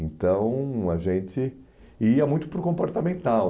Então, a gente ia muito para o comportamental.